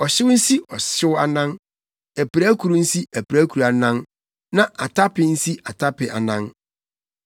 ɔhyew nsi ɔhyew anan, apirakuru nsi apirakuru anan na atape nsi atape anan.